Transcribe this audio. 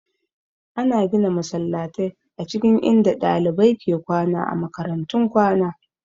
Ana gina masallatai a cikin inda ɗalibai ke kwana a makarantun kwana